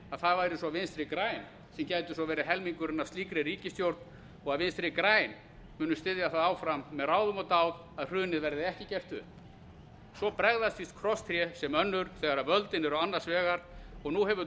að vinstri græn gætu svo verið helmingurinn af slíkri ríkisstjórn og að vinstri græn muni styðja áfram með ráðum og dáð að hrunið verði ekki gert upp svo bregðast víst krosstré sem önnur þegar völdin eru annars vegar og nú hefur